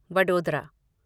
Vadodara